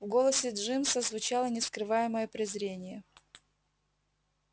в голосе джимса звучало нескрываемое презрение